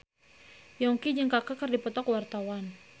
Yongki jeung Kaka keur dipoto ku wartawan